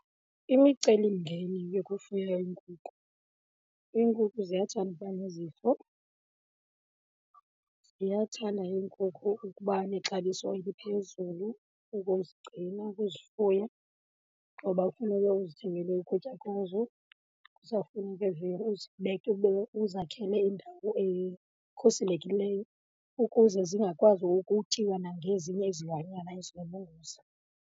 Imicelimngeni yokufuya iinkukhu, iinkukhu ziyathanda uba nezifo. Ziyathanda iinkukhu ukuba nexabiso eliphezulu ukuzigcina, ukuzifuya, ngoba kufuneke uzithengele ukutya kwazo. Kuzawufuneke weer uzibeke ube uzakhele indawo ekhuselekileyo ukuze zingakwazi ukutyiwa nangezinye izilwanyana ezinobungozi.